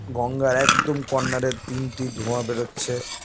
গঙ্গার একদম কর্ণার -এ তিনটি ধোয়া বেরোচ্ছে।